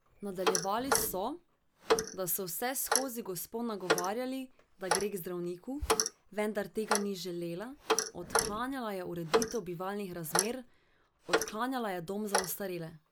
Nadaljevali so, da so vseskozi gospo nagovarjali, da gre k zdravniku, vendar tega ni želela, odklanjala je ureditev bivalnih razmer, odklanjala je dom za ostarele.